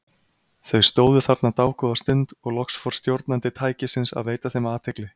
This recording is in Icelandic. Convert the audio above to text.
Þau stóðu þarna dágóða stund og loks fór stjórnandi tækisins að veita þeim athygli.